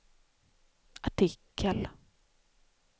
artikel